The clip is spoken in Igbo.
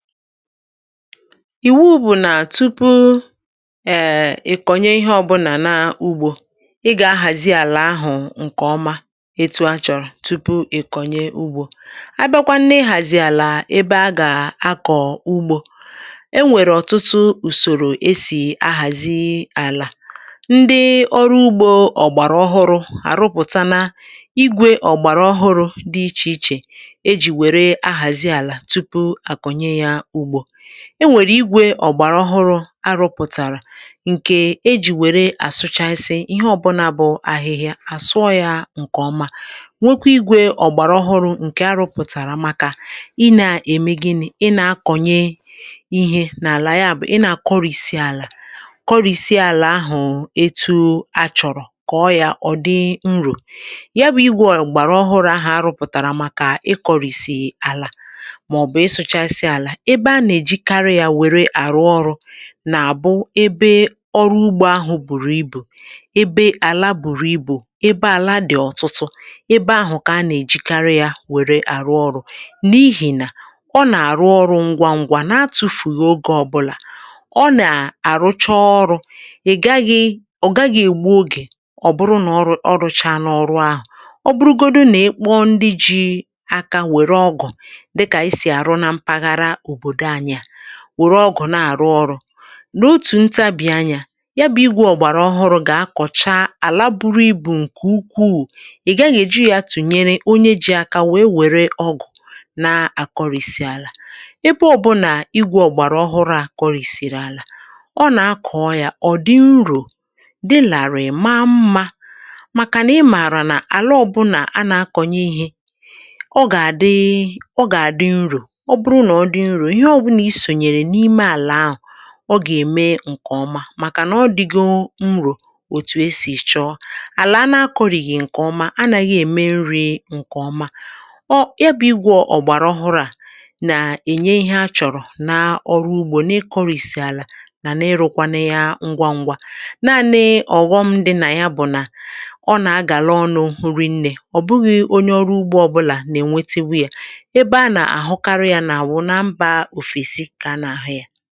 ìwu bụ̀ nà tupu um ị̀kọ̀nye ihe ọ̇bụ̇nà n’ugbȯ ị gà-ahàzi àlà ahụ̀ ǹkè ọma etụ̇ achọ̀rọ̀ tupu ị kọ̀nye ugbȯ. A bịakwa nà ị hàzì àlà ebe a gà-akọ̀ ugbȯ e nwèrè ọ̀tụtụ ùsòrò esì ahàzi àlà, ndị ọrụ ugbȯ ọ̀gbàrà ọhụrụ̇ àrụpụ̀ta na igwė ọ̀gbàrà ọhụrụ̇ dị ichè ichè e jì wèrè ahàzi àlà tụpụ akọnye ya ụgbọ. Enwèrè igwè ọ̀gbàrà ọhụrụ̇ arụ̇pụ̀tàrà ǹkè e jì wèrè àsụchasị ihe ọbụlà bụ̀ ahịhịa àsụọ̇ yȧ ǹkè ọma nwekwa igwè ọ̀gbàrà ọhụrụ̇ ǹkè arụpụ̀tàrà màkà ị na-ème gịnị̇, ị na-akọ̀nye ihe n’àlà ya bụ̀, ị na-akọrịsị àlà kọrịsị àlà ahụ̀ ẹtu achọ̀rọ̀ kọ̀ọ yȧ ọ̀ dị nrò ya bụ̇ igwè ǹgbàrà ọhụrụ ahà arụpụ̀tàrà màkà ị kọ̀rị̀sị àlà maọbu isụ chasi àlà, ebe a nà-èjikarị yȧ wère àrụ ọrụ nà-àbụ ebe ọrụ ugbȯ ahụ̀ bùrù ibù ebe àla bùrù ibù ebe àla dị̀ ọ̀tụtụ ebe ahụ̀ kà a nà-èjikarị yȧ wère àrụ ọrụ, n’ihì nà ọ nà-àrụ ọrụ̇ ngwa ngwa na-atụ̇fù ogė ọbụlà ọ nà-àrụcha ọrụ̇ ị̀ gaghị ọ gaghị ègbu ogè ọ bụrụ nà ọ rụchana n’ọrụ ahụ̀. Ọ bụrụgodu nà ịkpọ ndị ji̇ aka wèrè ọgọ̀ wòrò dika esi arụ na mpaghara obodo anyị a were ọgụ̀ na-àrụ ọrụ̇ nà otù ntabì anyȧ ya bụ̀ igwė ọ̀gbàrà ọhụrụ̇ gà-akọ̀cha àla buru ibù ǹkè ukwuu ị̀ gaghị èji yȧ tùnyere onye ji̇ aka wee wère ọgụ̀ na-àkọrìsì àlà. Ebe ọ̇bụ̇nà igwė ọ̀gbàrà ọhụrụ̇ àkọrìsìrì àlà ọ nà-akọ̀ọ yȧ ọ̀dị nrò dị làrị̀ maa mmȧ, màkànà ị mààrà nà àla ọbụnà a nà-akọ̀nyė ihe ọ gà-àdị ọ gà-àdị nrò ọ bụrụ nà ọ dị nrò ihe ọbụna isonyere ime àlà áhù ọ gà-ème ǹkè ọma màkànà ọ dịgọ nrò òtù esì chọọ. Alà a na-akọ̀rìghì ǹkè ọma, anàghị ème nri̇ ǹkè ọma ọ, ya bụ̇ igwọ̇ ọ̀gbàrà ọhụrụ à nà-ènye ihe a chọ̀rọ̀ naa ọrụ ugbȯ na-ekọrìsì àlà nà na-ịrụ̇kwanụ ya ngwa ngwȧ naa nee ọ̀ghọm dị nà ya bụ̀ nà ọ nà-agàla ọnụ̇ hụrị nnė ọ̀ bụghị̇ onye ọrụ ugbȯ ọbụ̇là nà-ènwete wụ yȧ. Ebe ana ahụ karị ya na awụ na mba ofesi kà a na ahụ ya.